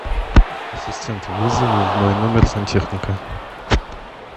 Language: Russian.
ассистент вызови в мой номер сантехника